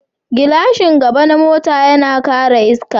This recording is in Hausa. Gilashin gaba na mota yana kare iska.